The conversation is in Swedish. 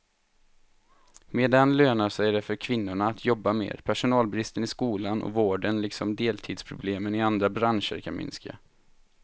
Med den lönar det sig för kvinnorna att jobba mer, personalbristen i skolan och vården liksom deltidsproblemen i andra branscher kan minska.